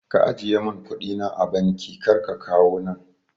Ka ajiye mun kuɗi na a banki kar ka kawo nan